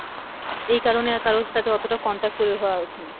এই কারণে আর কারুর সাথে অতটা contact করে হওয়া ওঠেনি।